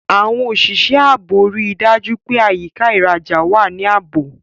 Àwọn òṣìṣẹ́ ààbò rí i dájú pé àyíká ìrajà wà ní ààbò.